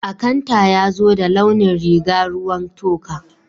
Akanta yazo da launin rìga ruwan toka.